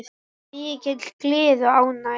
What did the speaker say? Mikil gleði og ánægja.